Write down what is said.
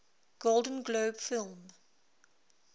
golden globe film